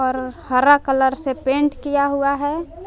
हरा कलर से पेंट किया हुआ है।